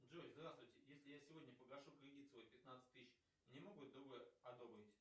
джой здравствуйте если я сегодня погашу кредит свой пятнадцать тысяч мне могут другой одобрить